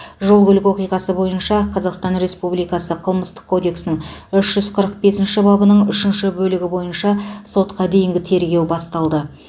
жол көлік оқиғасы бойынша қазақстан республикасы қылмыстық кодексінің үш жүз қырық бесінші бабының үшінші бөлігі бойынша сотқа дейінгі тергеу басталды